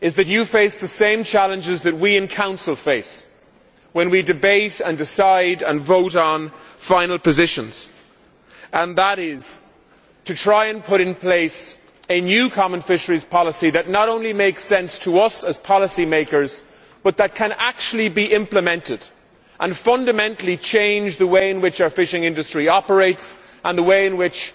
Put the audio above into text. You face the same challenges that we in the Council face when we debate and decide and vote on final positions, namely to try and put in place a new common fisheries policy that not only makes sense to us as policymakers, but that can actually be implemented, and can fundamentally change the way in which our fishing industry operates, the way in which